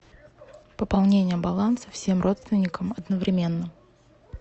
пополнение баланса всем родственникам одновременно